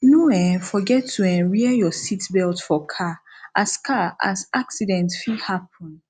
no um forget to um wear your seatbelt for car as car as accident fit happen